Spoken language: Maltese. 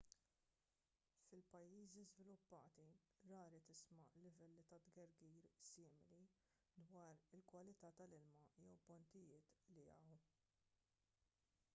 fil-pajjiżi żviluppati rari tisma' livelli ta' tgergir simili dwar il-kwalità tal-ilma jew pontijiet li jaqgħu